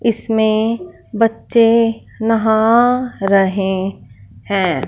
इसमें बच्चे नहा रहे हैं।